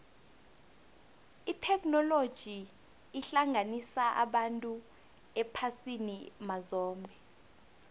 itheknoloji ihlanganisa abantu ephasini mazombe